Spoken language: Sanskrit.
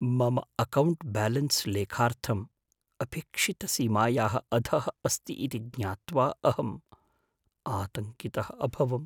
मम अकौण्ट् ब्यालेन्स् लेखार्थं अपेक्षितसीमायाः अधः अस्ति इति ज्ञात्वाहम् आतङ्कितः अभवम्।